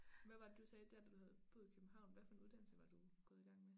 Hvad var det du sagde der du havde boet i København hvad for en uddsnnelse var du gået i gang med